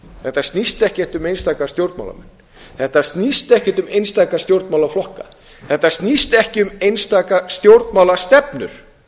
þetta snýst ekkert um einstaka stjórnmálamenn þetta snýst ekkert um einstaka stjórnmálaflokka þetta snýst ekki um einstaka stjórnmálastefnur